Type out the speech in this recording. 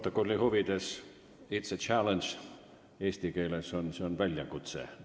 Stenogrammi huvides: it's a challenge on eesti keeles "see on väljakutse".